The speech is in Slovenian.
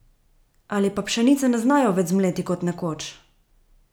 Ali pa pšenice ne znajo več zmleti kot nekoč?